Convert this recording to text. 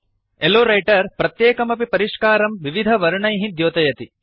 लो रैटर प्रत्येकमपि परिष्कारं विविधवर्णैः द्योतयति